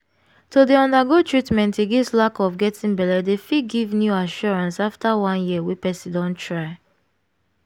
to dey undergo treatment against lack of getting belle dey fit give new assurance after one year wey person don try